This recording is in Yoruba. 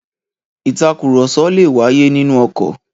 Ìtakùrọ̀sọ le wáyé nínú ọkọ̀.